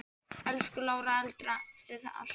Elsku Lára, takk fyrir allt.